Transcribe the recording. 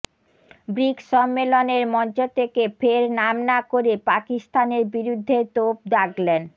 bricks সম্মেলনের মঞ্চ থেকে ফের নাম না করে পাকিস্তানের বিরুদ্ধে তোপ দাগলেন